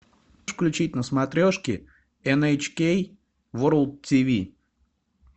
включить на смотрешке эн эйч кей ворлд тв